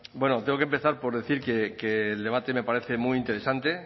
bueno tengo que empezar por decir que el debate me parece muy interesante